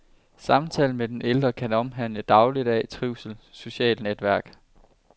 Samtalen med den ældre kan omhandle dagligdag, trivsel, socialt netværk.